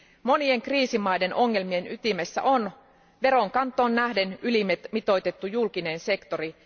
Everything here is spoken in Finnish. Monien kriisimaiden ongelmien ytimessä on veronkantoon nähden ylimitoitettu julkinen sektori.